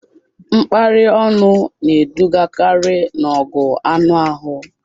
Mkparị ọnụ na-edugakarị n'ọgụ anụ ahụ